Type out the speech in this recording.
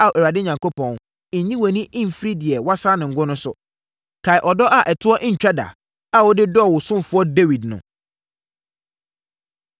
“Ao Awurade Onyankopɔn, nyi wʼani mfiri deɛ woasra no ngo no so. Kae ɔdɔ a ɛtoɔ ntwa da, a wode dɔɔ wo ɔsomfoɔ Dawid no.”